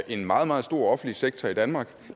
en meget meget stor offentlig sektor i danmark